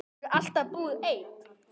Hefurðu alltaf búið einn?